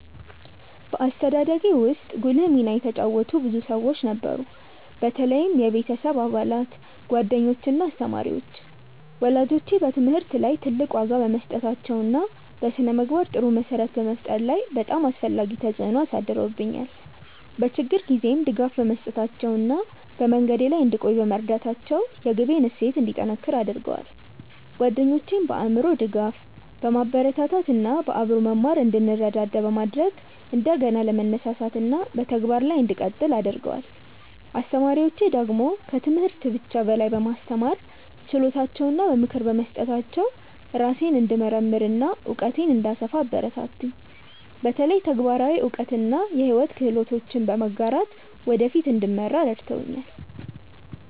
በአስተዳደጌ ውስጥ ጉልህ ሚና የተጫወቱ ብዙ ሰዎች ነበሩ፣ በተለይም የቤተሰብ አባላት፣ ጓደኞች እና አስተማሪዎች። ወላጆቼ በትምህርት ላይ ትልቅ ዋጋ በመስጠታቸው እና በስነ-ምግባር ጥሩ መሰረት በመፍጠር ላይ በጣም አስፈላጊ ተጽዕኖ አሳድረውብኛል፤ በችግር ጊዜም ድጋፍ በመስጠታቸው እና በመንገዴ ላይ እንድቆይ በመርዳታቸው የግቤን እሴት እንዲጠነክር አድርገዋል። ጓደኞቼም በአእምሮ ድጋፍ፣ በማበረታታት እና በአብሮ መማር እንድንረዳዳ በማድረግ እንደገና ለመነሳሳት እና በተግባር ላይ እንድቀጥል አግርገደዋል። አስተማሪዎቼ ደግሞ ከትምህርት ብቻ በላይ በማስተማር ችሎታቸው እና በምክር በመስጠታቸው ራሴን እንድመርምር እና እውቀቴን እንድሰፋ አበረታቱኝ፤ በተለይ ተግባራዊ እውቀት እና የሕይወት ክህሎቶችን በመጋራት ወደ ፊት እንድመራ ረድተውኛል።